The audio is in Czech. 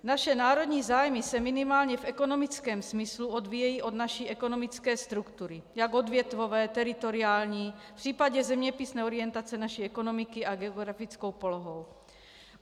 Naše národní zájmy se minimálně v ekonomickém smyslu odvíjejí od naší ekonomické struktury, jak odvětvové, teritoriální v případě zeměpisné orientace naší ekonomiky a geografickou polohou.